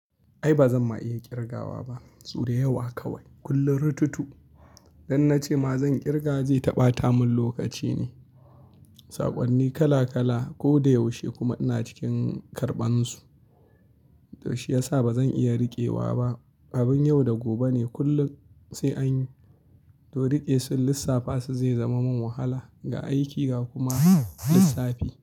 Ai ba zan ma iya kirgawa ba, su da yawa kawai. Kullum rututu. Dan na ce ma zan kirga zai ta ɓata mun lokaci ne. Saƙonni kala kala ko da yaushe kuma ina cikin karɓan su. To shiyasa ba zan iya riƙewa ba. Abin yau da gobe ne kullum sai anyi, to riƙe sun lissafa su zai zama min wahala ga aiki ga kuma lissafi.